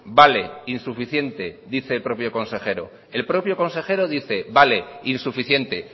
vale insuficiente dice el propio consejero el propio consejero dice vale insuficiente